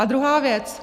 A druhá věc.